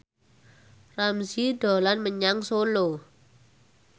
Ramzy dolan menyang Solo